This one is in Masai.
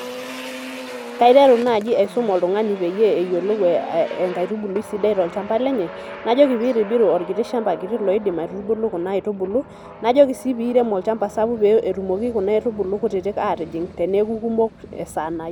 Kaiteru nai aisum oltungani peyieul eyiolou enkaitubulu sidai tolchamba lenye, najoki pitobiru orkiti laidim aitubulu kuna aitubulu, najoki si peirem olchamba sapuk petumoki kuna aitubulu kutitik atijing teneaku kumok.